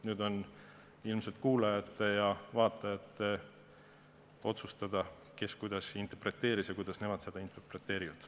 Nüüd on ilmselt kuulajate ja vaatajate otsustada, kes kuidas interpreteeris ja kuidas nemad seda interpreteerivad.